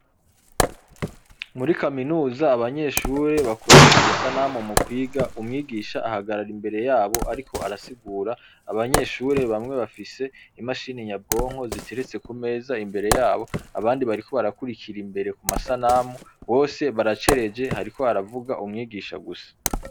Muri kaminuza abanyeshure bakoresha amasanamu mu kwiga umwigisha ahagarara imbere yabo ariko arasigura, Abanyeshure bamwe bafise imashini nyabwonko ziteretse ku meza imbere yabo abandi bariko barakurikira imbere ku masanamu bose baracereje hariko havuga umwigisha gusa.